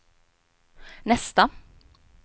nästa